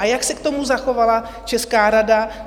A jak se k tomu zachovala česká rada?